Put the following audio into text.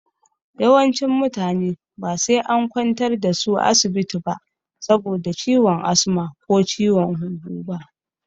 Yawancin mutane ba sai an kwantar da su asibiti saboda ciwon asma ko ciwon huhu ba.